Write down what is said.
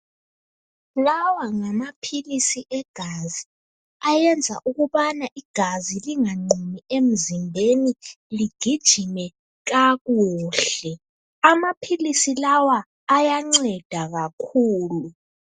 Lawa ngamaphilisi egazi . Ayenza ukubana igazi linganqumi emzimbeni , ligijime kakuhle. Amaphilisi lawa ayanceda kakhulu.